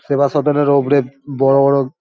সেবাসদনের উপরে বড় বড়--